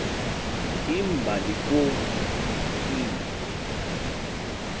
imbali kwo l